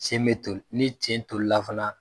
sen be toli ni sen tolila fana